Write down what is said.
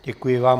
Děkuji vám.